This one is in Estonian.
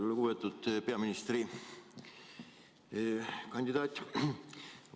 Lugupeetud peaministrikandidaat!